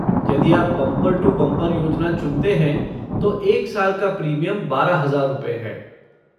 यदि आप bumper to bumper योजना चुनते हैं, तो एक साल का प्रीमियम बारह हजार रुपये है।